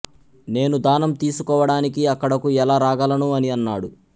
నేను దానం తీసుకోవడానికి అక్కడకు ఎలా రాగలను అని అన్నాడు